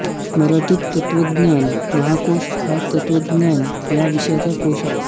मराठी तत्त्वज्ञान महाकोश हा तत्त्वज्ञान या विषयाचा कोश आहे